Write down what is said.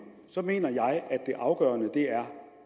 så mener jeg at det afgørende er